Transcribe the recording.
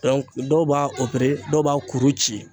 dɔw b'a dɔw b'a kuru ci.